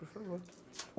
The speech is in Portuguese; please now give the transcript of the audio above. Por favor.